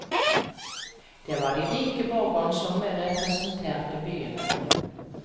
Det var de rike borgerne som representerte byene.